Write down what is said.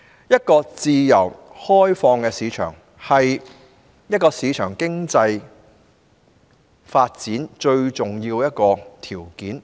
一個自由開放的市場，是市場經濟發展最重要的條件之一。